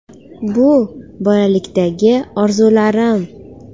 Bu bolalikdagi orzularim.